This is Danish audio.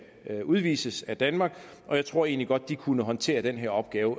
udvises af danmark og jeg tror egentlig godt de kunne håndtere den her opgave